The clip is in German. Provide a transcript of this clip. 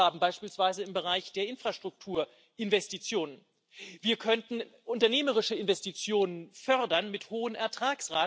zum Beispiel aus Aktien und Unternehmensgewinnen so wie heute schon in der Schweiz. Dadurch wird die Mittelschicht entlastet.